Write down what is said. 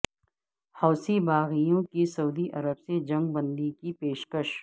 حوثی باغیوں کی سعودی عرب سے جنگ بندی کی پیشکش